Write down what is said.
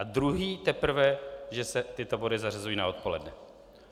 A druhý teprve, že se tyto body zařazují na odpoledne.